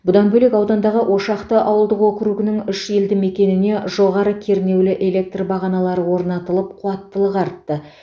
бұдан бөлек аудандағы ошақты ауылдық округінің үш елді мекеніне жоғары кернеулі электр бағаналары орнатылып қуаттылығы артты